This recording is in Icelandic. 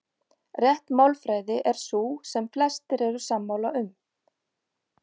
Rétt málfræði er sú sem flestir eru sammála um.